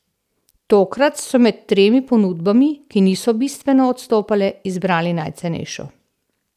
Tokrat so med tremi ponudbami, ki niso bistveno odstopale, izbrali najcenejšo.